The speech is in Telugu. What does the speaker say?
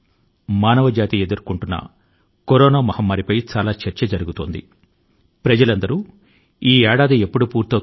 సహజంగానే మన సంభాషణల లో ఎక్కువ భాగం ప్రపంచ మహమ్మారి చుట్టూ తిరిగింది ఇది మానవ జాతి ఎదుర్కొంటున్న అతి పెద్ద విపత్తు